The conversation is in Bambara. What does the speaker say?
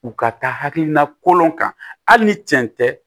U ka taa hakilina kolon kan hali ni cɛn tɛ